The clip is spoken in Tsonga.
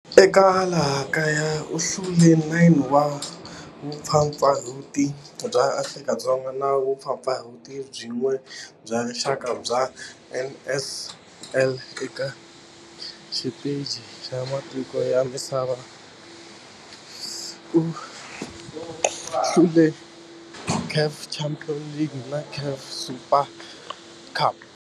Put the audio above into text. Eka laha kaya u hlule 9 wa vumpfampfarhuti bya Afrika-Dzonga na vumpfampfarhuti byin'we bya rixaka bya NSL. Eka xiteji xa matiko ya misava, u hlule eka CAF Champions League na CAF Super Cup.